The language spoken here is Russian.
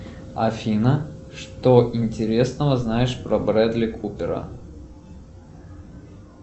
афина что интересного знаешь про брэдли купера